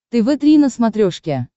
тв три на смотрешке